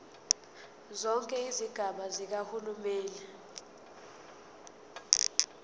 zonke izigaba zikahulumeni